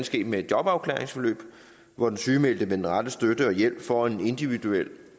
ske med et jobafklaringsforløb hvor den sygemeldte med den rette støtte og hjælp får en individuel